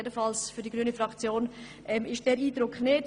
Jedenfalls hat die grüne Fraktion diesen Eindruck nicht.